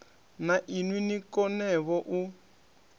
na inwi ni konevho u